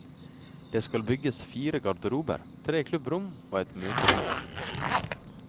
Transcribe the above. Det skal bygges fire garderober, tre klubbrom og ett møterom.